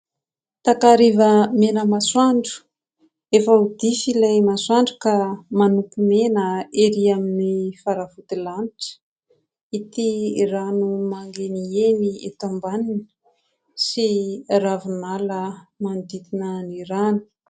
Takariva mena masoandro. Efa ho dify ilay masoandro ka manopy mena ery amin'ny faravodilanitra. Ity rano mandeniheny eto ambaniny sy ravinala manodidina ny rano.